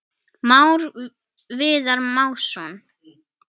Már Viðar Másson.